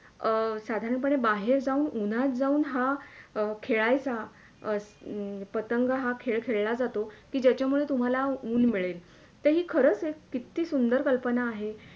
अं साधारणपणे बाहेर जाऊन उनात जाऊन हा अं खेळायचा हम्म पतंग हा खेळ खेळला जातो की ज्याच्या मुळे तुम्हाला ऊन मिळेल ते ही खरंच एक किती सुंदर कल्पना आहे.